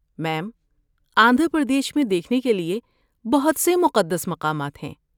میم، آندھرا پردیش میں دیکھنے کے لیے بہت سے مقدس مقامات ہیں۔